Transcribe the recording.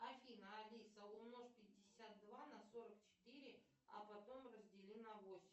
афина алиса умножь пятьдесят два на сорок четыре а потом раздели на восемь